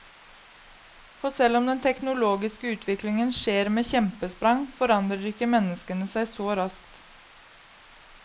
For selv om den teknologiske utvikling skjer med kjempesprang, forandrer ikke menneskene seg så raskt.